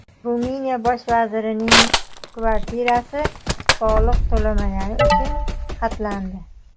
Ruminiya bosh vazirining kvartirasi soliq to‘lamagani uchun xatlandi.